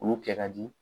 Olu kɛ ka di